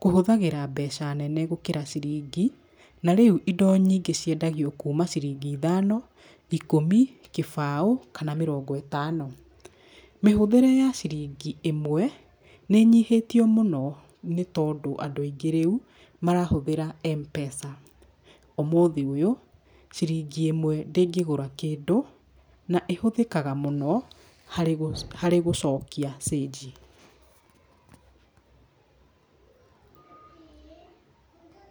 kũhũthagĩra mbeca nene gũkĩra ciringi. Na rĩu indo nyingĩ ciendagio kuma ciringi ithano, ikũmi, kĩbao kana mĩrongo ĩtano. Mĩhũthĩre ya ciringi ĩmwe nĩ ĩnyihĩtio mũno, nĩ tondũ rĩu andũ aingĩ marahũthĩra M-Pesa. Ũmũthĩ ũyũ ciringi ĩmwe ndĩngĩgũra kĩndũ na ĩhũthĩkaga mũno harĩ gũcokia cĩnji.